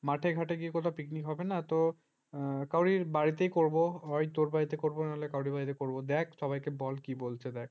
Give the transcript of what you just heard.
মাঠে-ঘাটে গিয়ে কোথাও picnic হবে না তো কারোর বাড়িতেই করব হয় তোর বাড়িতে করব না হলে কারুর বাড়িতে করব সবাইকে বল কি বলছে দেখ